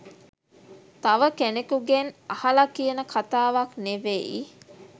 තව කෙනෙකුගෙන් අහලා කියන කතාවක් නෙවෙයි